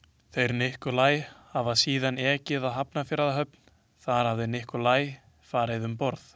Þeir Nikolaj hafi síðan ekið að Hafnarfjarðarhöfn, þar hafi Nikolaj farið um borð.